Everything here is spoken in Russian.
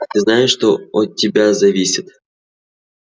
ты знаешь что от тебя зависит